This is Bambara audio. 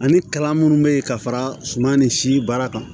Ani kalan minnu bɛ yen ka fara suman nin si baara kan